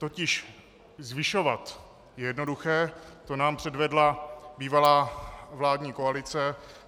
Totiž zvyšovat je jednoduché, to nám předvedla bývalá vládní koalice.